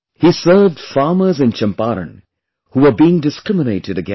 He served farmers in Champaran who were being discriminated against